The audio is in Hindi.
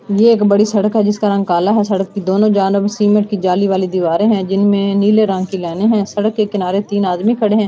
यह एक बड़ी सड़क है जिसका रंग काला है सड़क के दोनों सीमेंट की जाली वाली दीवारें हैं जिनमें नीले रंग की लाइनें है सड़क के किनारे तीन आदमी खड़े हैं।